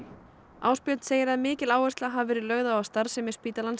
Ásbjörn segir að mikil áhersla hafi verið lögð á að starfsemi spítalans